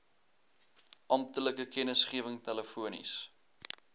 amptelike kennisgewing telefonies